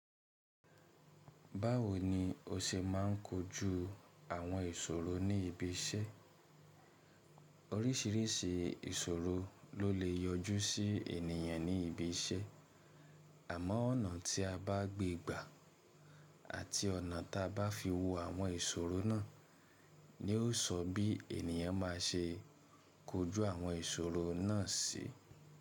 Báwo ni o ṣe ma n kojú àwọn ìṣòro ní ibi iṣẹ́? Oríṣìíríṣìí ìṣòro ló lè yọjú sí ènìyàn ní ibi iṣẹ́. Àmọ́ ọ̀nà tí a bá gbé gbà àti ọ̀nà tí a bá fi wo àwọn ìṣòro náà ni ó sọ bí ènìyàn ma ṣe kojú àwọn ìṣòro náà sí.